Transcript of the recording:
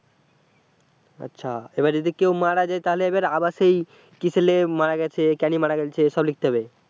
আচ্ছা এবার যদি কেউ মারা যায় তাহলে এবার আবার সেই কিসেলে মারা গেছে কেনে মারা গেছে এসব লিখতে হবে।